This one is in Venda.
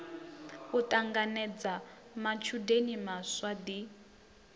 u ṱanganedza matshudeni maswa ḓi